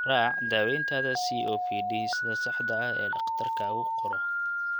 Raac daawayntaada COPD sida saxda ah ee dhakhtarkaagu kuu qoro.